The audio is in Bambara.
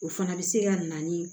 O fana bɛ se ka na ni